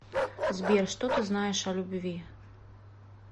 сбер что ты знаешь о любви